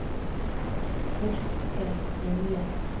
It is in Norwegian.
Torkel Vinje